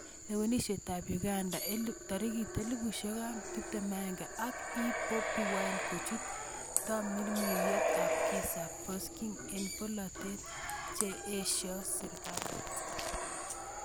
Lewenisiet ab Uganda 2021: Ang ii, Bobi Wine kochut tamirmiriet ab Kizza Besigye eng polatet che esio serikalit .